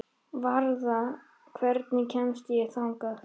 Varða, hvernig kemst ég þangað?